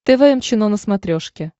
тэ вэ эм чено на смотрешке